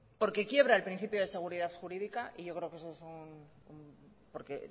porque quiebra el principio de seguridad jurídica y yo creo que esos son sí